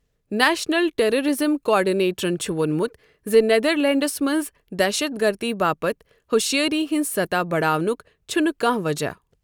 National terrorism کوآرڈِنیٹرَن چُھ ووٚنمُت زِ نیدرلینٛڈس منٛز دہشت گردی باپت ہُشٲری ہِنٛز سطح بَڑاونک چھٗنہٕ کانٛہہ وجہ۔